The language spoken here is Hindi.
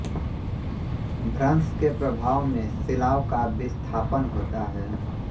भ्रंश के प्रभाव में शिलाओं का विस्थापन होता है